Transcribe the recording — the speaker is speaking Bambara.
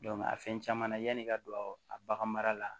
a fɛn caman na yanni i ka don a bagan mara la